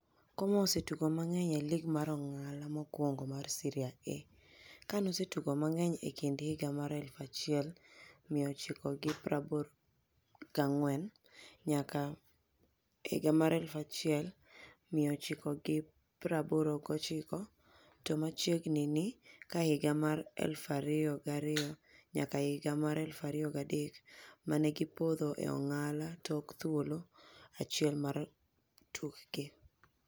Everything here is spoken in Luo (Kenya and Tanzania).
Como osetugo mang'eny e lig mar ong'ala mokwongo mar Seria A, kanosetugo mang'eny e kind 1984 nyaka 1989 to machiegni ni, ka higa mar 2002-2003 mane gi podho e ong'ala tok thuolo achiel mar tukgi.